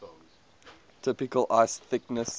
typical ice thickness